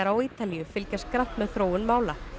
á Ítalíu fylgjast grannt með þróun mála